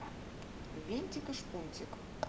винтик и шпунтик